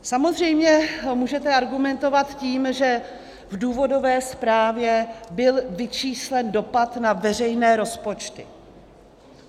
Samozřejmě můžete argumentovat tím, že v důvodové zprávě byl vyčíslen dopad na veřejné rozpočty.